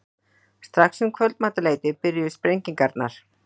Strax um kvöldmatarleytið byrjuðu sprengingarnar.